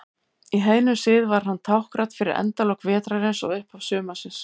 Í heiðnum sið var hann táknrænn fyrir endalok vetrarins og upphaf sumarsins.